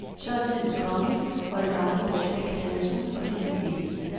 Så er tiden kommet, hvor det gamle år skal knaldes ud og det ny ind.